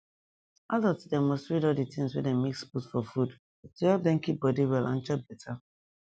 adult dem must read all the things wey dem mix put for food to help dem keep body well and chop beta